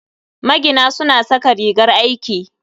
Magina suna saka rigar aiki.